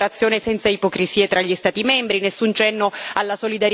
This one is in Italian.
nessun cenno alla cooperazione senza ipocrisie tra gli Stati membri